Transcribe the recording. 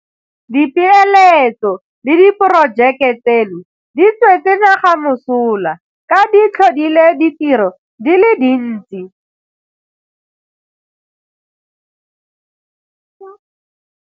Dipeeletso le diporojeke tseno di tswetse naga mosola ka di tlhodile ditiro di le dintsi.